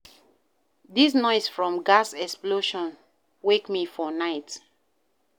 Dis noise from di gas explosion wake me for night.